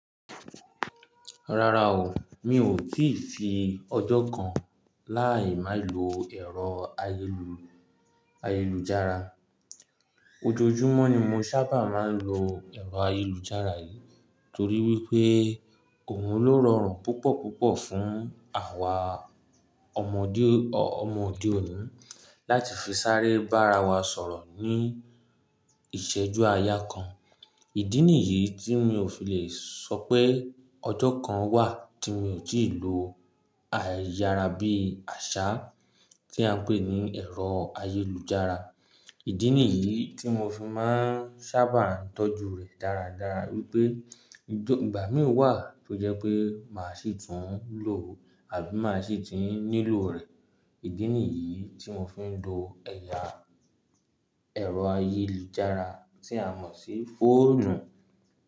Rárá o, mi ò tíì sí ọjọ́ kan láì má lo ẹ̀rọ ayélujára. Ojoojúmọ́ ni mo sábà máa ń lo ẹ̀rọ ayélujára yìí torí wípé òun ló rọrùn púpọ̀púpọ̀ fún àwa ọmọdé òde òní láti fi sáré bá ara wa sọ̀rọ̀ ní ìṣẹ́jú àyà kan. Ìdí nìyí tí mi ò fi lè sọ pé ọjọ́ kan wà tí mi ò tíì lo ayára bí àsá tí à ń pè ní ẹ̀rọ ayélujára. Ìdí nìyí tí mo fi máa ń sábà tọ́jú rẹ̀ dáradára wípé ìgbà mí wà tó jẹ́ pé màá ṣì tún lò àbí màá ṣì ti nílò rẹ̀. Ìdí nìyí tí mo fi ń lo ẹ̀rọ ayélujára tí a mọ̀ sí fóònù.